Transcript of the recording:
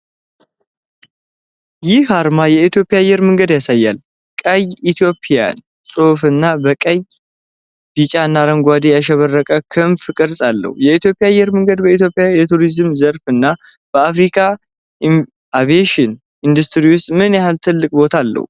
ይህ አርማ የ ኢትዮጵያ አየር መንገድ ያሳያል። ቀይ የ'Ethiopian' ጽሑፍና በቀይ፣ ቢጫና አረንጓዴ ያሸበረቀ ክንፍ ቅርጽ አለው። የኢትዮጵያ አየር መንገድ በኢትዮጵያ የቱሪዝም ዘርፍ እና በ አፍሪካ የአቪዬሽን ኢንዱስትሪ ውስጥ ምን ያህል ትልቅ ቦታ አለው?